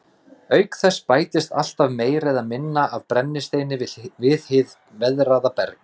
Auk þess bætist alltaf meira eða minna af brennisteini við hið veðraða berg.